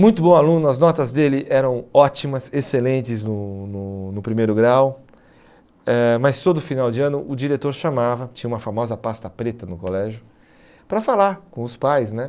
Muito bom aluno, as notas dele eram ótimas, excelentes no no no primeiro grau, eh mas todo final de ano o diretor chamava, tinha uma famosa pasta preta no colégio, para falar com os pais né.